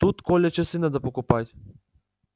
тут коля часы надо покупать